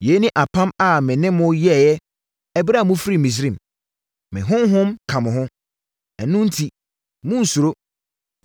‘Yei ne apam a me ne mo yɛeɛ ɛberɛ a mofirii Misraim. Me Honhom ka mo ho. Ɛno enti monnsuro.’